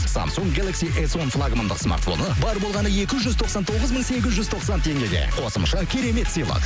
самсунг геласки эс он смартфоны бар болғаны екі жүз тоқсан тоғыз мың сегіз жүз тоқсан теңгеге қосымша керемет сыйлық